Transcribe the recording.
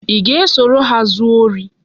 I ga-esoro ha zuo ori?